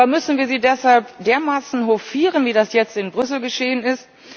Aber müssen wir sie deshalb dermaßen hofieren, wie das jetzt in Brüssel geschehen ist?